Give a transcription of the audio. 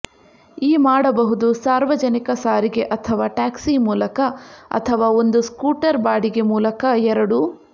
ಈ ಮಾಡಬಹುದು ಸಾರ್ವಜನಿಕ ಸಾರಿಗೆ ಅಥವಾ ಟ್ಯಾಕ್ಸಿ ಮೂಲಕ ಅಥವಾ ಒಂದು ಸ್ಕೂಟರ್ ಬಾಡಿಗೆ ಮೂಲಕ ಎರಡೂ